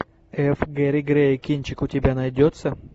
эф гери грей кинчик у тебя найдется